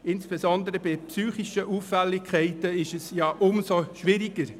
Bei psychischen Auffälligkeiten ist diese noch schwieriger.